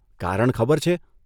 કારણ ખબર છે?